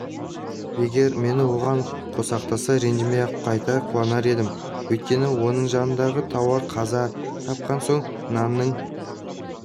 егер мені оған қосақтаса ренжімей-ақ қайта қуанар едім өйткені оның жанындағы тауар қаза тапқан соң нанның